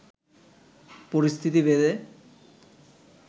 পরিস্থিতি ভেদে